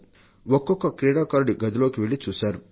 ఒక్కొక్క క్రీడాకారుడి గదిలోకి వెళ్లి చూశారు